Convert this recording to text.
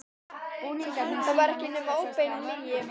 Það var ekki nema óbein lygi.